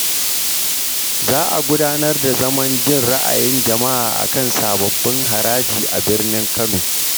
Za a gudanar da zaman jin ra’ayin jama’a kan sababbin haraji a birnin Kano.